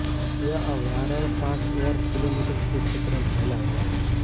यह अभ्यारण पांच वर्ग किलोमीटर के क्षेत्र में फैला हुआ है